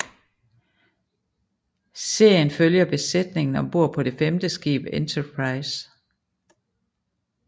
Serien følger besætningen ombord på det femte skib Enterprise